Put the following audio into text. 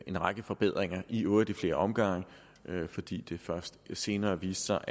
en række forbedringer i øvrigt i flere omgange fordi det først senere viste sig